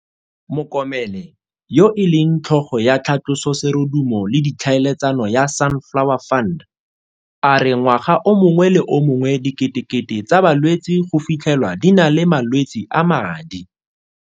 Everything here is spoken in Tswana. Mokomele, yo e leng tlhogo ya tlhatloso serodumo le ditlhaeletsano ya Sunflower Fund, a re ngwaga o mongwe le o mongwe diketekete tsa balwetse go fitlhe lwa di na le malwetse a madi.